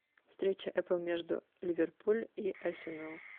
встреча апл между ливерпуль и арсенал